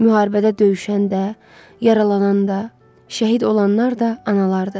Müharibədə döyüşən də, yaralanan da, şəhid olanlar da analardır.